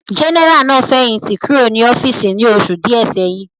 Jẹ́nẹ́rà náà fẹ̀yìntì kúrò ní ọ́fíìsì ní oṣù díẹ̀ sẹ́yìn